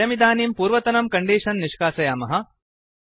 वयमिदानीं पूर्वतनं कण्डीषन् निष्कासयामः